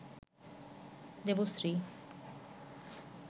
Debashree